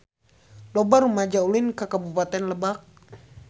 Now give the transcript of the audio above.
Loba rumaja ulin ka Kabupaten Lebak